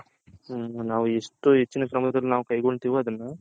ನಾವು ಎಷ್ಟು ಎಚಿನ